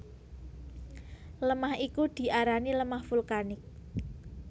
Lemah iku diarani lemah vulkanik